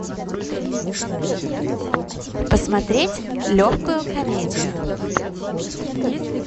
посмотреть легкую комедию